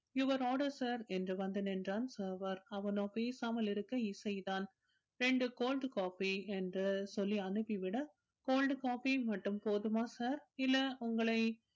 your order sir என்று வந்து நின்றான் server அவனோ பேசாமல் இருக்க இசைதான் இரண்டு cold coffee என்று சொல்லி அனுப்பிவிட cold coffee மட்டும் போதுமா sir இல்லை உங்களை